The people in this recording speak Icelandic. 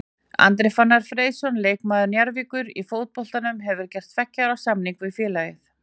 Andri Fannar Freysson leikmaður Njarðvíkur í fótboltanum hefur gert tveggja ára samning við félagið.